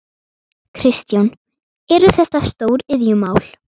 Kristján: Eru þetta stóriðjumál?